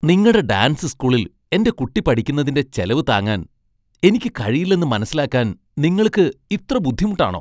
നിങ്ങടെ ഡാൻസ് സ്കൂളിൽ എന്റെ കുട്ടി പഠിക്കുന്നതിന്റെ ചെലവു താങ്ങാൻ എനിക്ക് കഴിയില്ലെന്ന് മനസ്സിലാക്കാൻ നിങ്ങൾക്ക് ഇത്ര ബുദ്ധിമുട്ടാണോ?